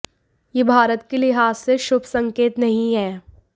यह भारत के लिहाज से शुभ संकेत नहीं है